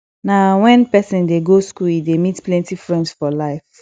na wen pesin dey go skool e dey meet plenty friends for life